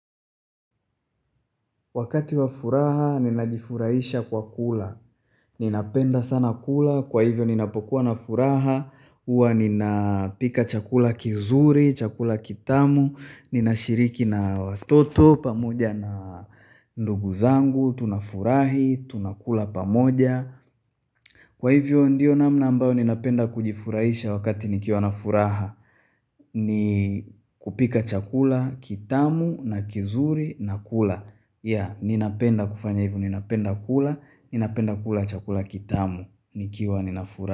Wakati wa furaha, ninajifurahisha kwa kula. Ninapenda sana kula. Kwa hivyo, ninapokuwa na furaha. Huwa, ninapika chakula kizuri, chakula kitamu. Ninashiriki na watoto, pamoja na ndugu zangu. Tunafurahi, tunakula pamoja. Kwa hivyo, ndio namna ambayo, ninapenda kujifurahisha wakati nikiwa na furaha. Kupika chakula, kitamu, na kizuri, na kula. Ya, ninapenda kufanya hivyo, ninapenda kula, ninapenda kula chakula kitamu, nikiwa nina furaha.